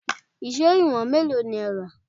Èṣó ìwọ̀n mélòó ni ẹ rà?